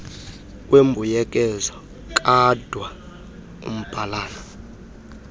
wembuyekezo kadwa umbhalana